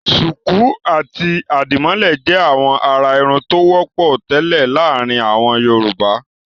Ṣùkú àti àdìmọ́lẹ̀ jẹ́ àwọn àrà-irun tó wọ́pọ̀ tẹ́lẹ̀ láàárin àwọn Yorùbá.